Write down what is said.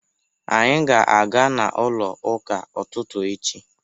Anyị ga-aga n'ụlọ ụka ụtụtụ echi.